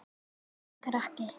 Og enginn krakki!